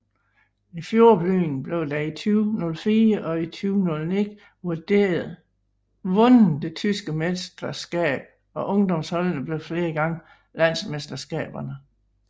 I fjordbyen blev der i 2004 og i 2009 vundet det tyske mesterskab og ungdomsholdene blev flere gange landsmesterskaberne